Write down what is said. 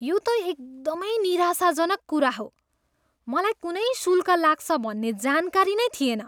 यो त एकदमै निराशाजनक कुरा हो। मलाई कुनै शुल्क लाग्छ भन्ने जानकारी नै थिएन।